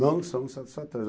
Não são satisfatórios.